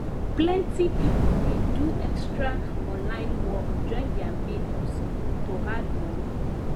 plenty people dey do extra online work join their main hustle to add money